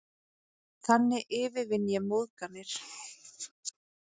Þannig yfirvinn ég móðganir.